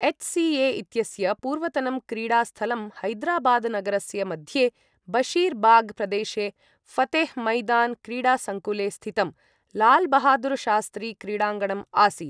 एच्.सी.ए.इत्यस्य पूर्वतनं क्रीडास्थलं हैदराबादनगरस्य मध्ये बशीर् बाग् प्रदेशे ऴतेह् मैदान् क्रीडासङ्कुले स्थितम् लालबहादुरशास्त्री क्रीडाङ्गणम् आसीत्।